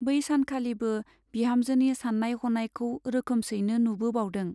बै सानखालिबो बिहामजोनि सान्नाय हनायखौ रोखोमसैनो नुबोबावदों।